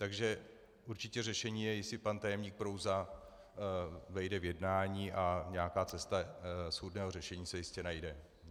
Takže určitě řešení je, jestli pan tajemník Prouza vejde v jednání, a nějaká cesta schůdného řešení se jistě najde.